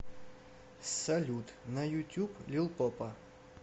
салют на ютюб лил попа